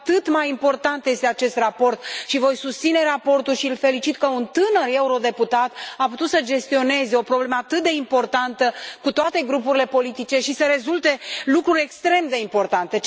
Cu atât mai important este acest raport și voi susține raportul și îl felicit pe tânărul eurodeputat pentru că a putut să gestioneze o problemă atât de importantă, cu toate grupurile politice, și să rezulte lucruri extrem de importante.